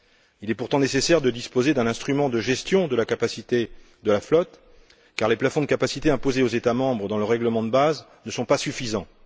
Il est pourtant nécessaire de disposer d'un instrument de gestion de la capacité de la flotte, car les plafonds de capacité imposés aux États membres dans le règlement de base ne sont pas suffisants.